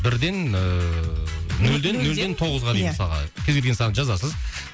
бірден ыыы нөлден нөлден тоғызға дейін мысалға кез келген санды жазасыз